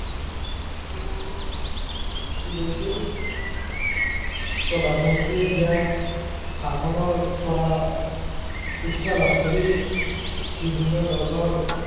কি কৰিছিল প্ৰধানমন্ত্ৰীয়ে দিয়া শাসনৰ পৰা উৎসাহ লাভ কৰি বিভিন্ন ধৰনৰ